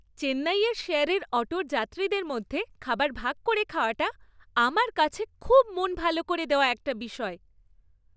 চেন্নাইয়ের শেয়ারের অটোর যাত্রীদের মধ্যে খাবার ভাগ করে খাওয়াটা, আমার কাছে খুব মন ভালো করে দেওয়া একটা বিষয়।